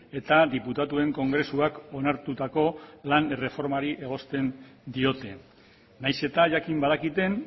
eta diputatuen kongresuak onartutako lan erreformari egosten diote nahiz eta jakin badakiten